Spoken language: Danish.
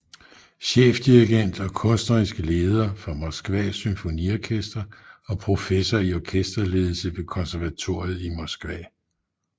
Chefdirigent og kunstnerisk leder for Moskvas Symfoniorkester og professor i orkesterledelse ved konservatoriet i Moskva